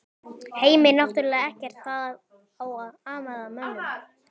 Heimir: Náttúrlega ekkert þá amað að mönnum?